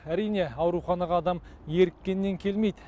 әрине ауруханаға адам еріккеннен келмейді